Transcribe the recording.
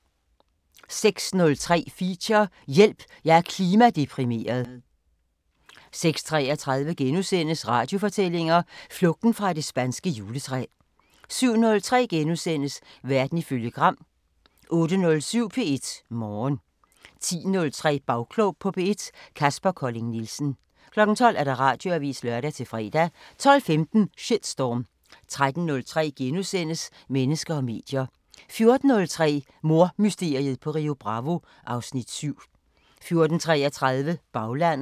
06:03: Feature: Hjælp jeg er klimadeprimeret 06:33: Radiofortællinger: Flugten fra det spanske juletræ * 07:03: Verden ifølge Gram * 08:07: P1 Morgen 10:03: Bagklog på P1: Kaspar Colling Nielsen 12:00: Radioavisen (lør-fre) 12:15: Shitstorm 13:03: Mennesker og medier * 14:03: Mordmysteriet på Rio Bravo (Afs. 7) 14:33: Baglandet